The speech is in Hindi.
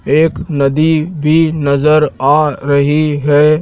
एक नदी भी नजर आ रही है।